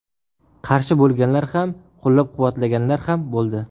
Qarshi bo‘lganlar ham, qo‘llab-quvvatlaganlar ham bo‘ldi.